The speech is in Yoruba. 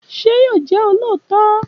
Ṣé yóò jẹ olóòótọ?